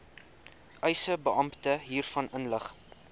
eisebeampte hiervan inlig